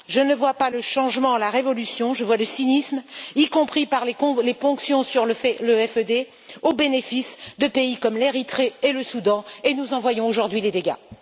Je ne vois pas le changement, la révolution, je vois le cynisme, y compris par les ponctions sur le FED au bénéfice de pays comme l'Érythrée et le Soudan, et nous en voyons aujourd'hui les dégâts.